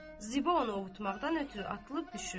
Ziba onu ovutmaqdan ötrü atılıb düşürdü.